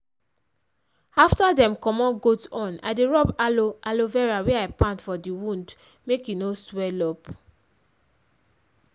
after dem commot goat horn i dey rub aloe aloe vera wey i pound for di wound make e no sweel up.